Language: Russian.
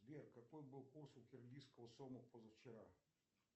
сбер какой был курс у киргизского сома позавчера